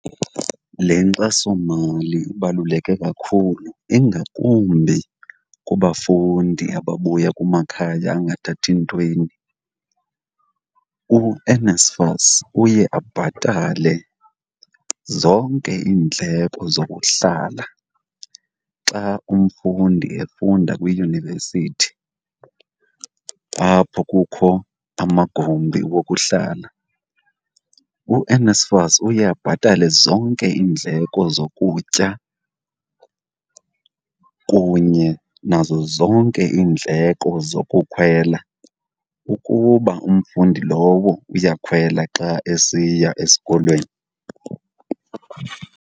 Le nkxasomali ibaluleke kakhulu ingakumbi kubafundi ababuya kumakhaya angathathi ntweni. UNSFAS uye abhatale zonke iindleko zokuhlala xa umfundi efunda kwiyunivesithi apho kukho amagumbi wokuhlala. UNSFAS uye abhatale zonke iindleko zokutya kunye nazo zonke iindleko zokukhwela ukuba umfundi lowo uyakhwela xa esiya esikolweni.